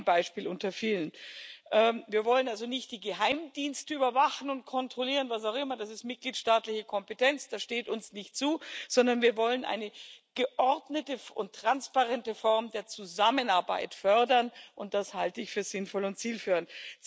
Das ist nur ein Beispiel unter vielen. Wir wollen also nicht die Geheimdienste überwachen und kontrollieren was auch immer, das ist mitgliedstaatliche Kompetenz, das steht uns nicht zu sondern wir wollen eine geordnete und transparente Form der Zusammenarbeit fördern, und das halte ich für sinnvoll und zielführend.